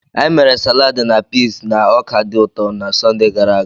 Anyị mere saladi na piis na ọka dị ụtọ na Sọnde gara aga.